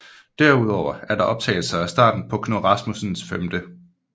Derudover er der optagelser af starten på Knud Rasmussens 5